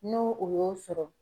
No o y'o sɔrɔ